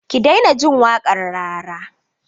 Ki daina jin waƙar Rara!